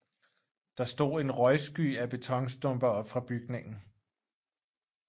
Der stod en røgsky af betonstumper op fra bygningen